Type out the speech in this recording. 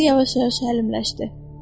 Səsi yavaş-yavaş həlimləşdi.